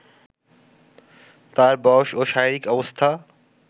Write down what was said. তার বয়স ও শরীরিক অবস্থা